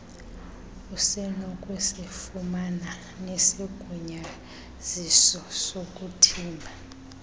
usenokusifumana nesigunyaziso sokuthimba